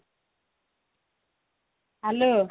hello